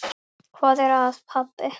Hvað er að, pabbi?